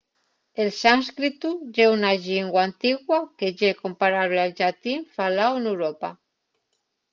el sánscritu ye una llingua antigua que ye comparable al llatín faláu n’europa